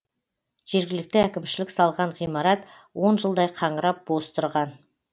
жергілікті әкімшілік салған ғимарат он жылдай қаңырап бос тұрған